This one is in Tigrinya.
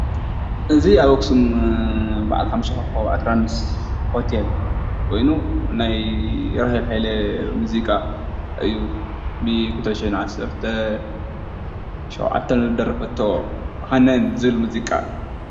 እዚ ኣብ ኣክሱም ብዓል ሓሙሽተ ኮኮብ ኣትራንስ ሆቴል ኮይኑ ናይ ራህየል ሃይለ ሙዚቃ እዩ፡፡ ብ2017 ዝደረፈቶ ሃነን ዝብል ሙዚቃ ።